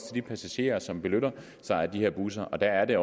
de passagerer som benytter sig af de her busser og der er det